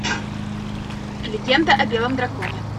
легенда о белом драконе